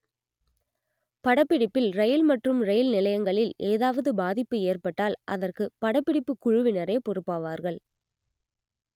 படப்பிடிப்பில் ரயில் மற்றும் ரயில் நிலையங்களில் ஏதாவது பாதிப்பு ஏற்பட்டால் அதற்கு படப்பிடிப்பு குழுவினரே பொறுப்பாவார்கள்